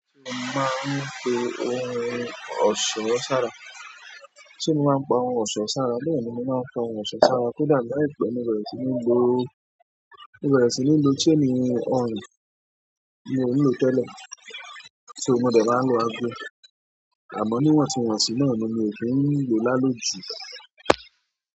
Ṣé mo máa ń pe ohun ọ̀ṣọ́ sára? Ṣé mo máa ń pa ohun ọ̀ṣọ́ sára? Bẹ́ẹ̀ni, mo máa ń pa ohun ọ̀ṣọ́ sára. Kódà láìpẹ́, mo bẹ́re sì ní lo, mo bẹ́re sì ní lo chain ọrùn mi ò lò tẹ́lẹ̀, ṣo mo dẹ̀ má lò ago. Àmọ́ níwàntù wànsi náà ni mi ò kí ń lo lálóju.